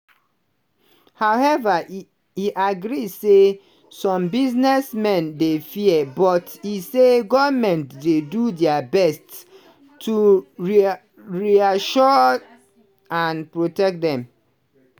however e agree say some businessmen dey fear but e say goment dey do dia best to rea to reassure and protect dem.